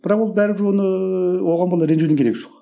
бірақ ол бәрібір оны оған бола ренжудің керегі жоқ